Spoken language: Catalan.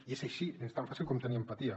i és així és tan fàcil com tenir empatia